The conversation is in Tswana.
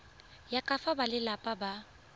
ya ka fa balelapa ba